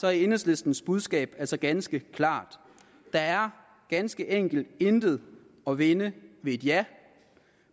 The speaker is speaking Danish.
er enhedslistens budskab altså ganske klart der er ganske enkelt intet at vinde ved et ja